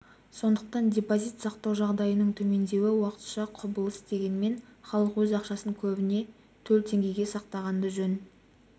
сондықтан депозит сақтау жағдайының төмендеуі уақытша құбылыс дегенмен халық өз ақшасын көбіне төл теңгеде сақтағанды жөн